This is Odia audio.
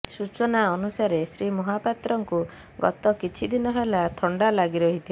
ସୂଚନା ଅନୁସାରେ ଶ୍ରୀ ମହାପାତ୍ରଙ୍କୁ ଗତ କିଛି ଦିନ ହେଲା ଥଣ୍ଡା ଲାଗି ରହିଥିଲା